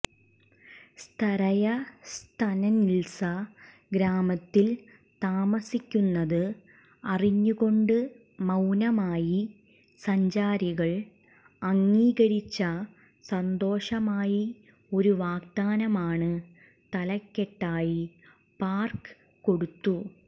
സ്തരയ സ്തനിത്സ ഗ്രാമത്തിൽ താമസിക്കുന്നത് അറിഞ്ഞുകൊണ്ട് മൌനമായി സഞ്ചാരികൾ അംഗീകരിച്ച സന്തോഷമായി ഒരു വാഗ്ദാനമാണ് തലക്കെട്ടായി പാർക്ക് കൊടുത്തു